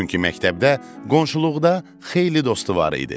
Çünki məktəbdə, qonşuluqda xeyli dostu var idi.